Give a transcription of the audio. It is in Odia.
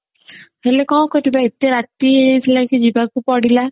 ହେଲେ କଣ କରିବା ଏତେ ରାତି ହେଇ ଯାଇଥିଲା କି ଯିବାକୁ ପଡିଲା